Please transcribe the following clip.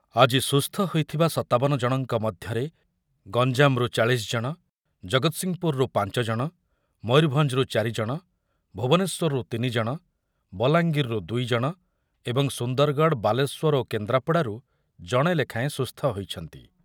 ଆଜି ସୁସ୍ଥ ହୋଇଥିବା ସତାବନ ଜଣଙ୍କ ମଧ୍ୟରେ ଗଞ୍ଜାମରୁ ଚାଳିଶି ଜଣ, ଜଗତସିଂହପୁରରୁ ପାଞ୍ଚ ଜଣ, ମୟୂରଭଞ୍ଜରୁ ଚାରି ଜଣ, ଭୁବନେଶ୍ୱରରୁ ତିନି ଜଣ, ବଲାଙ୍ଗୀରରୁ ଦୁଇ ଜଣ ଏବଂ ସୁନ୍ଦରଗଡ଼, ବାଲେଶ୍ୱର ଓ କେନ୍ଦ୍ରାପଡ଼ାରୁ ଜଣେ ଲେଖାଏଁ ସୁସ୍ଥ ହୋଇଛନ୍ତି।